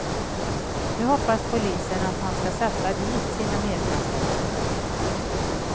Nu hoppas polisen att han ska sätta dit sina medbrottslingar.